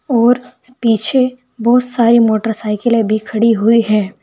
और पीछे बहुत सारी मोटरसाइकिले भी खड़ी हुई है।